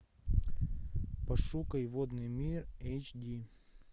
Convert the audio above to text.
пошукай водный мир эйч ди